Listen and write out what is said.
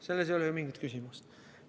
Selles ei ole mingit küsimust.